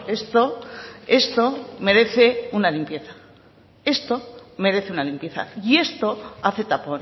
esto merece una limpieza y esto hace tapón